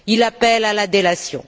Il appelle à la délation.